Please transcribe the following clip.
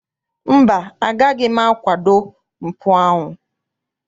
Mba, agaghị m akwado mpụ ahụ.